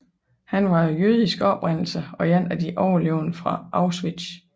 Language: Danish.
Han var af jødisk oprindelse og en af de overlevende fra Auschwitz